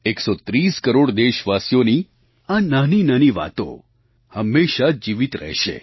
130 કરોડ દેશવાસીઓની આ નાની નાની વાતો હંમેશાં જીવિત રહેશે